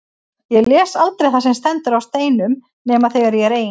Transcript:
Ég les aldrei það sem stendur á steinum nema þegar ég er ein.